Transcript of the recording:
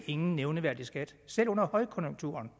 ingen nævneværdig skat selv under højkonjunkturen